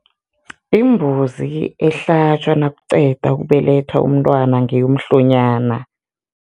Imbuzi ehlatjwa nakuqeda ukubelethwa umntwana ngeyomhlonyana.